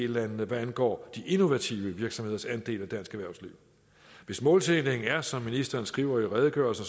landene hvad angår de innovative virksomheders andel af dansk erhvervsliv hvis målsætningen er som ministeren skriver i redegørelsen